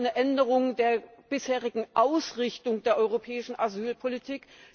Zweitens eine Änderung der bisherigen Ausrichtung der europäischen Asylpolitik.